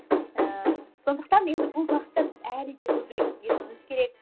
ііі сондықтан енді бұл бағытта біз әлі де көбірек ізденуіміз керек